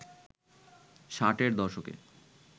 ষাটের দশকে